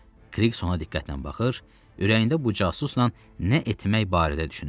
Qliks ona diqqətlə baxır, ürəyində bu casusla nə etmək barədə düşünürdü.